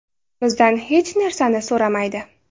Bizdan hech narsani so‘rashmaydi.